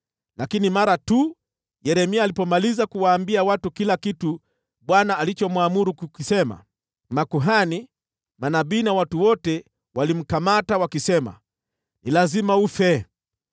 Lakini mara tu Yeremia alipomaliza kuwaambia watu kila kitu Bwana alichomwamuru kukisema, basi makuhani, manabii na watu wote walimkamata wakisema, “Ni lazima ufe!